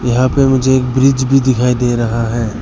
यहां पे मुझे एक ब्रिज भी दिखाई दे रहा है।